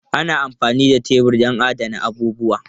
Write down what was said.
Ana amfani da tebur don adana abubuwa.